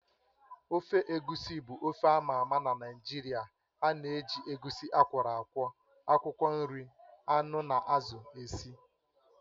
Ofe egusi bụ ofe ámá ama na Naịjirịa ánà eji egusi akwọro akwọ, akwụkwọ nri, anụ na azụ esi